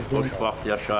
Xoşbəxt yaşayın.